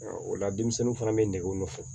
o la denmisɛnninw fana bɛ negew nɔfɛ